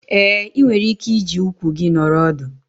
Ee, ị nwere ike iji ụkwụ gị nọrọ ọdụ.